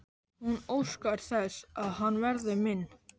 Hún óskar þess að hann verði minn.